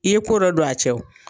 I ye ko dɔ don a cɛ